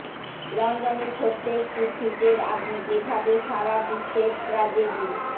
লন্ডনের ছোট্ট একটি ফ্রিজের আগুন যেভাবে সারা বিশ্বের ট্র্যাজেডি